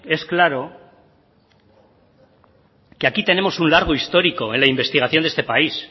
es claro que aquí tenemos un largo histórico en la investigación de este país